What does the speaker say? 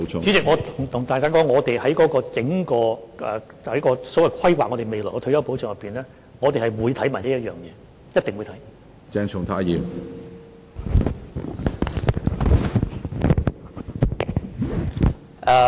主席，我跟大家說，我們在整體規劃未來退休保障的過程中，會同時研究這一點，一定會看。